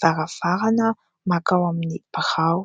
varavarana mankao amin'ny birao.